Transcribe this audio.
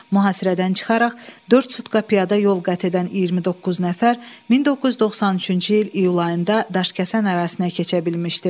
Mühasirədən çıxaraq dörd sutka piyada yol qət edən 29 nəfər 1993-cü il iyul ayında Daşkəsən ərazisinə keçə bilmişdi.